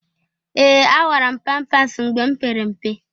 Ee! Awara m pampas mgbe m pere mpe.